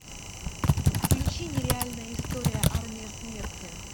включи нереальная история армия смерти